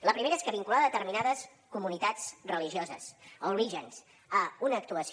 la primera és que vincular determinades comunitats religioses o orígens a una actuació